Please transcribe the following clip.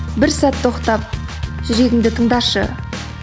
бір сәт тоқтап жүрегіңді тыңдашы